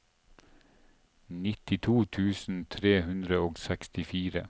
nittito tusen tre hundre og sekstifire